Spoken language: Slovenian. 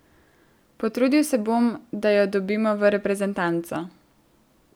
Potrudil se bom, da jo dobimo v reprezentanco.